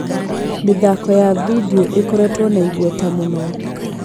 Mĩthako ya video ĩkoretwo na igweta mũno.